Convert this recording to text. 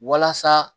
Walasa